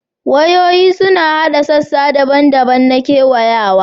Wayoyi suna haɗa sassa daban-daban na kewayawa